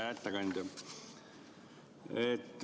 Hea ettekandja!